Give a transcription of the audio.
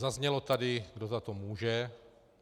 Zaznělo tady, kdo za to může.